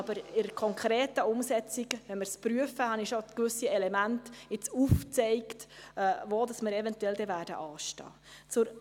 Aber bei der konkreten Umsetzung, wenn wir es prüfen, gibt es verschiedene Elemente, die ich aufgezeigt habe, bei denen man anstehen wird.